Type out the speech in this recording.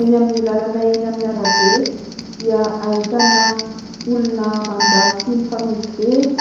Eny amin'ny lalana eny amin'ny arabe dia ahitana olona mandalo sy mifamezivezy,